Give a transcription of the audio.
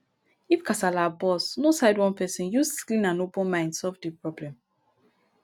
if kasala burst no side one person use clean and open mind solve di problem